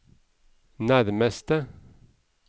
nærmeste